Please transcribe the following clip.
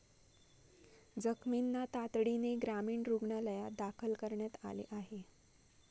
जखमींना तातडीने ग्रामीण रुग्णालयात दाखल करण्यात आले आहे.